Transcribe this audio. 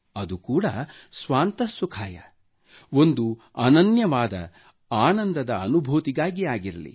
ಅದು ಕೂಡ ಸ್ವಾತಃ ಸುಖಾಯಃ ಒಂದು ಅನನ್ಯವಾದ ಆನಂದದ ಅನುಭೂತಿಗಾಗಿ ಆಗಿರಲಿ